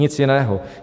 Nic jiného.